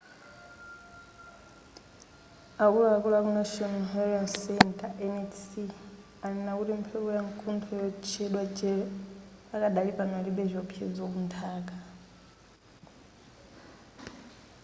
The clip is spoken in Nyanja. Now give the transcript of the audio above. akuluakulu aku national hurricane center nhc anena kuti mphepo yamkuntho yotchedwa jerry pakadali pano ilibe chiwopsezo kunthaka